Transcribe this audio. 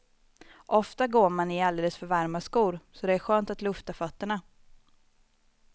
Ofta går man i alldeles för varma skor, så det är skönt att lufta fötterna.